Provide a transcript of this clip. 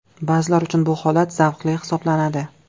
Ba’zilar uchun bu holat zavqli hisoblanadi.